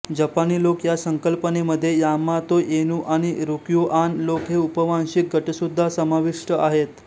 जपानी लोक या संकल्पनेमध्ये यामातो ऐनू आणि रुक्युआन लोक हे उपवांशिक गटसुद्धा समाविष्ट आहेत